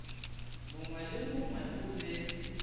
mongwe le mongwe o be